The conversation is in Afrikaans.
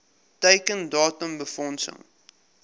teiken datum befondsing